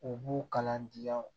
U b'u kalan diya o